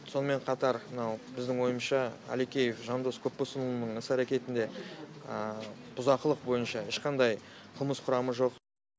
сонымен қатар мынау біздің ойымызша әлекеев жандос көпбосынұлының іс әрекетінде бұзақылық бойынша ешқандай қылмыс құрамы жоқ